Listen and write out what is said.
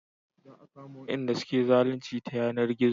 Za a kama Wanda suke zalunci ta yanar gizo